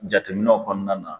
Jateminɛw kɔnɔna na